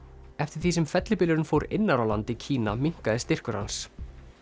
eftir því sem fellibylurinn fór innar á land í Kína minnkaði styrkur hans